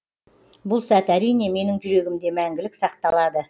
бұл сәт әрине менің жүрегімде мәңгілік сақталады